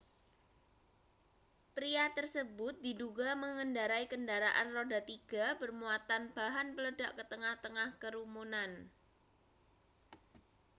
pria tersebut diduga mengendarai kendaraan roda tiga bermuatan bahan peledak ke tengah-tengah kerumunan